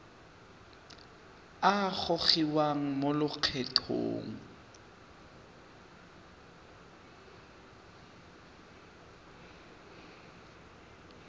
a a gogiwang mo lokgethong